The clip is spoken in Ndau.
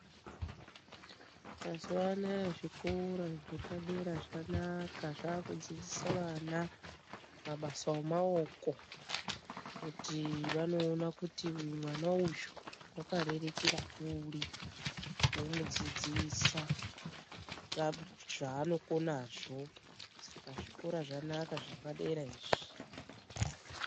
Mazuwa anaya zvikora zvanaka zvepadera zvava kudzidzisa vana mabasa emaoko, kuti vanoona kuti mwana uyu wakarerekera kuri, vomudzidzisa zvaanokonazvo. Saka zvikora zvanaka zvepadera izvo.